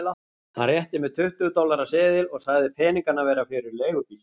Hann rétti mér tuttugu dollara seðil og sagði peningana vera fyrir leigubíl.